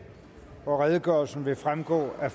og redegørelsen vil fremgå af